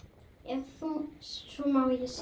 Ef svo má segja.